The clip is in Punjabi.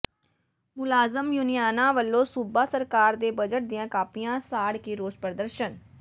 ਮੁਲਾਜ਼ਮ ਯੂਨੀਅਨਾਂ ਵਲੋਂ ਸੂਬਾ ਸਰਕਾਰ ਦੇ ਬਜਟ ਦੀਆਂ ਕਾਪੀਆਂ ਸਾੜ ਕੇ ਰੋਸ ਪ੍ਰਦਰਸ਼ਨ